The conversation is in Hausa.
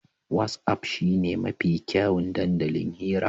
Wat'af shine mafi kyawun dandalin hira.